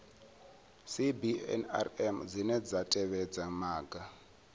cbnrm dzine dza tevhedza maga